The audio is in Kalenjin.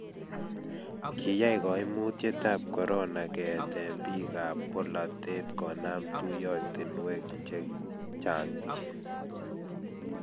kiyai kaimutietab korona keete biikab bolatet konam tuyiotinwek che chang' biik